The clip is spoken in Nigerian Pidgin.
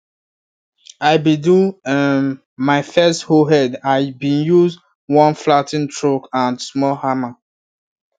i been do um my first hoe head i been use one flat ten ed truck and small hammer